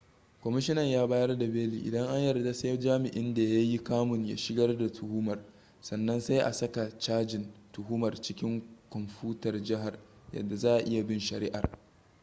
kwamishinan ya bayar da beli idan an yarda sai jami'in da ya yi kamun ya shigar da tuhumar sannan sai a saka cajin tuhumar cikin kwamfutar jihar yadda za'a iya bin shari'ar